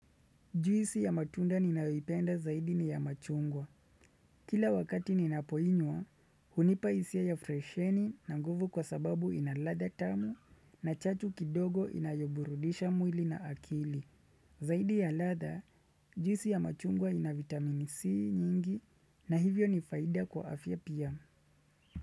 Juisi ya matunda ninayoipenda zaidi ni ya machungwa. Kila wakati ninapoinywa, hunipa hisia fresheni na nguvu kwa sababu ina ladha tamu na chatu kidogo inayoburudisha mwili na akili. Zaidi ya ladha, juisi ya machungwa ina vitamini C nyingi na hivyo ni faida kwa afya pia.